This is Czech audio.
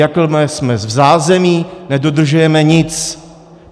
Jakmile jsme v zázemí, nedodržujeme nic.